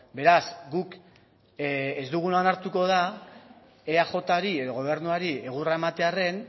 beraz guk ez duguna onartuko da eajri edo gobernuari egurra ematearren